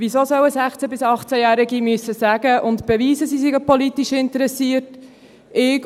Weshalb sollen 16- bis 18-Jährige sagen und beweisen müssen, dass sie politisch interessiert sind?